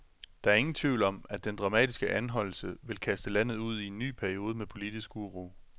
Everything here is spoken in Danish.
Der er ingen tvivl om, at den dramatiske anholdelse vil kaste landet ud i en ny periode med politisk uro.